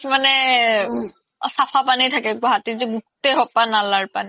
মানে চাফা পানি থাকে গুৱাহাতিতও গোতেই খুপা নালাৰ পানি